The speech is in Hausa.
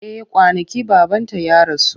Eh kwanaki babanta ya rasu.